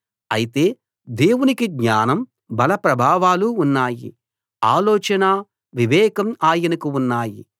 అయితే దేవునికి జ్ఞానం బల ప్రభావాలు ఉన్నాయి ఆలోచనా వివేకమూ ఆయనకు ఉన్నాయి